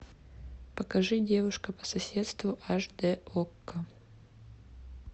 покажи девушка по соседству аш д окко